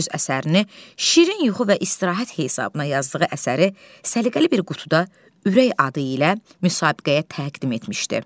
Öz əsərini şirin yuxu və istirahət hesabına yazdığı əsəri səliqəli bir qutuda ürək adı ilə müsabiqəyə təqdim etmişdi.